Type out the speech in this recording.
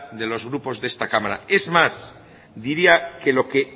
de los grupos de esta cámara es más diría que lo que